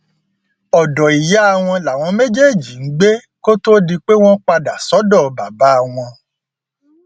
ọdọ ìyá wọn làwọn méjèèjì ń gbé kó tóó di pé wọn padà sọdọ bàbá wọn